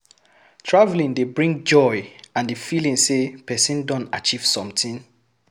Traveling dey bring joy and the feeling sey person don achieve sometin